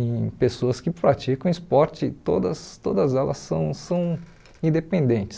em pessoas que praticam esporte, todas todas elas são são independentes.